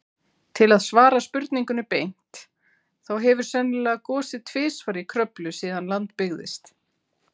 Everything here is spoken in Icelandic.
Til að svara spurningunni beint, þá hefur sennilega gosið tvisvar í Kröflu síðan land byggðist.